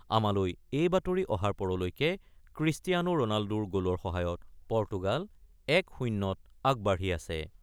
আমালৈ এই বাতৰি অহাৰ পৰলৈকে ক্ৰিষ্টিয়ানো ৰণাল্ডোৰ গ'লৰ সহায়ত পৰ্তুগাল ১-০৩ আগবাঢ়ি আছে।